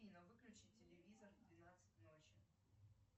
афина выключи телевизор в двенадцать ночи